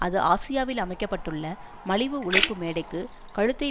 அது ஆசியாவில் அமைக்க பட்டுள்ள மலிவு உழைப்பு மேடைக்கு கழுத்தை